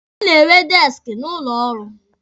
A na-enwe deeski n'ụlọ ọrụ.